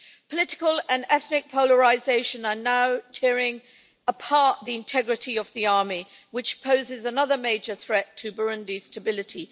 Political and ethnic polarisation are now tearing apart the integrity of the army, posing another major threat to Burundi's stability.